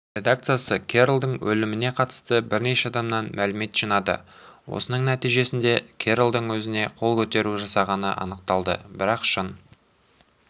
редакциясы керролдың өліміне қатысты бірнеше адамнан мәлімет жинады осының нәтижесінде керролдың өзіне қол көтеру жасағаны анықталды бірақ шын